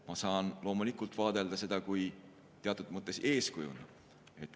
Ma saan loomulikult vaadelda seda kui teatud mõttes eeskuju.